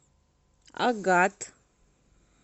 агат